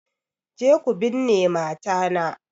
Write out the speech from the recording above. Je ku binne mata na!